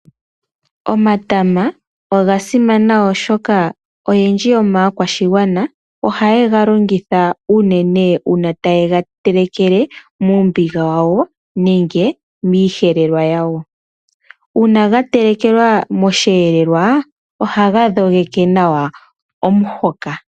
Omatama oga simana ,oshoka oyendji yomaakwashigwana ohaye ga longitha unene uuna taye ga telekele muumbiga wawo nenge miiyelelwa yawo. Uuna ga telekelwa moshiyelelwa ohaga dhogeke nawa omuhoka.